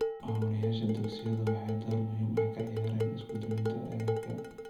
Maamulayaasha dugsiyadu waxay door muhiim ah ka ciyaareen isku duwidda agabka.